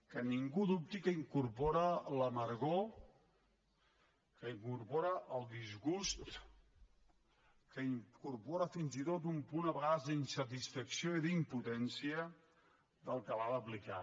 que ningú dubti que incorpora l’amargor que incorpora el disgust que incorpora fins i tot un punt a vegades d’insatisfacció i d’impotència del que l’ha d’aplicar